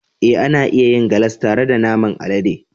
Ee, ana iya yin galas tare da naman alade.